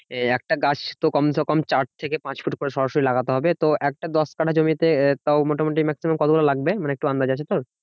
একটা গাছ তো কম সে কম চার থেকে পাঁচ ফুট করে সরাসরি লাগাতে হবে। তো একটা দশ কাটা জমি তে তাও মোটামুটি maximum কতগুলো লাগবে মানে একটু আন্দাজ আছে তোর